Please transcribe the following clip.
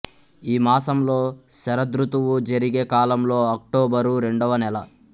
ఈ మాసంలో శరదృతువు జరిగే కాలంలో అక్టోబరు రెండవ నెల